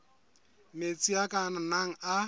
metsi a ka nnang a